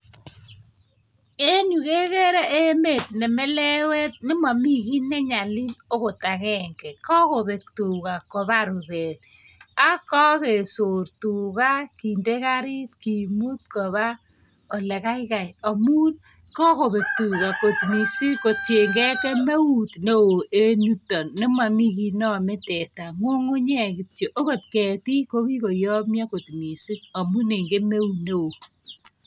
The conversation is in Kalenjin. Enyu kekere emet ne melewet, nemami kiy nenyalil , ogot agenge. Kakobek tuga kopar rupet, ako kakesor tuga kinde karit kimut. kopa ole kaikai amun kokobek tuga mising kotiengei, kemeut neo en yutok nemomi kit neamei teta, ng'ung'unyek kityo. Akot ketik kokikoyomio mising amun eng kemeut neo.